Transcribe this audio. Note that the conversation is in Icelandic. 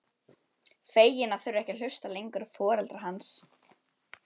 Fegin að þurfa ekki að hlusta lengur á foreldra hans.